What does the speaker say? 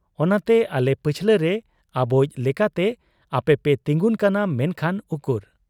ᱚᱱᱟᱛᱮ ᱟᱞᱮ ᱯᱟᱹᱪᱷᱞᱟᱹᱨᱮ ᱟᱵᱚᱭᱤᱡ ᱞᱮᱠᱟᱛᱮ ᱟᱯᱮᱯᱮ ᱛᱤᱸᱜᱩᱱ ᱠᱟᱱᱟ ᱾ ᱢᱮᱱᱠᱷᱟᱱ ᱩᱠᱩᱨ ?